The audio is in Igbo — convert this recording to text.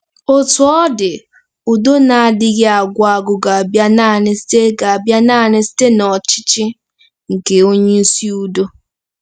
Otú ọ dị, udo na-adịghị agwụ agwụ ga-abịa nanị site ga-abịa nanị site n'ọchịchị nke "Onyeisi Udo ."